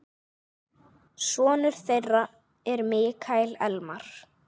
Sonur þeirra er Mikael Elmar.